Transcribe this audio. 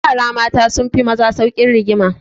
Yara mata sun fi maza saukin rigima.